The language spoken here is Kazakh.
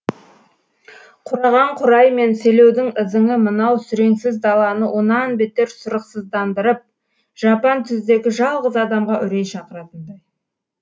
қураған қурай мен селеудің ызыңы мынау сүреңсіз даланы онан бетер сұрықсыздандырып жапан түздегі жалғыз адамға үрей шақыратын